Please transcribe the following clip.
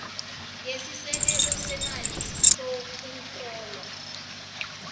ngesisekelo semali sokuhlolwa